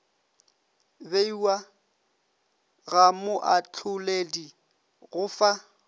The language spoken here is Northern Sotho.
beiwa ga moahloledi go fa